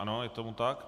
Ano, je tomu tak.